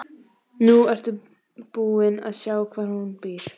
Nú ertu búin að sjá hvar hún býr.